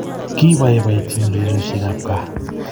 Kibaibaitynchini urerioshek ab kaa